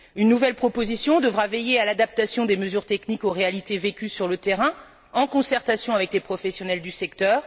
Une nouvelle proposition devra veiller à l'adaptation des mesures techniques aux réalités vécues sur le terrain, en concertation avec les professionnels du secteur.